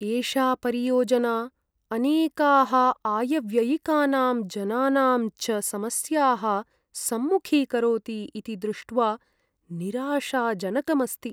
एषा परियोजना अनेकाः आयव्ययिकानां, जनानां च समस्याः सम्मुखीकरोति इति द्रुष्ट्वा निराशाजनकम् अस्ति।